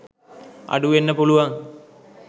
අඩු වෙන්න පුළුවන්